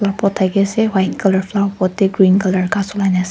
pot thake ase white colour flower pot teh green colour ghass ulai na ase.